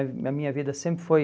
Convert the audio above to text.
A a minha vida sempre foi...